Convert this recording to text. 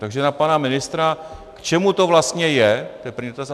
Takže na pana ministra, k čemu to vlastně je, to je první dotaz.